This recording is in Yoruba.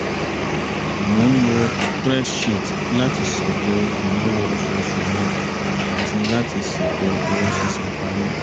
mò ń lo spreadsheet làti ṣètò ìnáwó oṣooṣù mi àti láti ṣètò owó sísan parí